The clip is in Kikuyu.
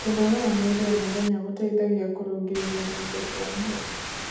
kũnogora mwĩrĩ o mũthenya gũteithagia kurungirirĩa irungo cia mwĩrĩ